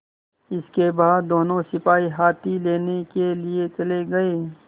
इसके बाद दोनों सिपाही हाथी लेने के लिए चले गए